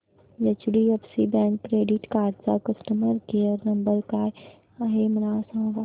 HDFC bank credit card चा customer care number काय आहे मला सांगा